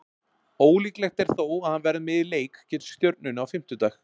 Ólíklegt er þó að hann verði með í leik gegn Stjörnunni á fimmtudag.